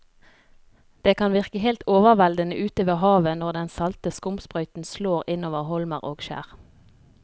Det kan virke helt overveldende ute ved havet når den salte skumsprøyten slår innover holmer og skjær.